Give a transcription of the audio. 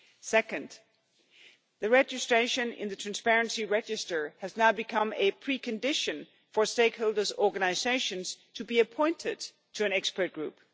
Second, registration in the Transparency Register has now become a precondition for stakeholders' organisations to be appointed to an expert group.